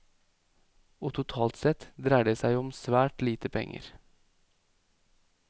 Og totalt sett dreier det seg jo om svært lite penger.